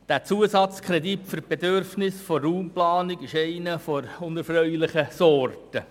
Der Zusatzkredit für die Bedürfnisse der Raumplanung ist einer der unerfreulichen Art.